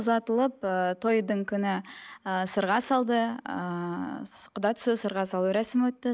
ұзатылып ыыы тойдың күні ыыы сырға салды ыыы құда түсу сырға салу рәсімі өтті